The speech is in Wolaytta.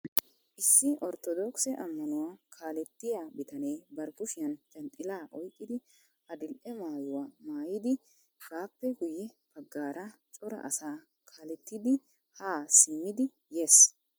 issi orttodokisse ammanuwa kaalletya bitanee bari kushiyaan janxxilla oyqqidi adil''e maayyuwa maayyidi baappe guye baggaara cora asaa kaallettiidi ha simmidi yees.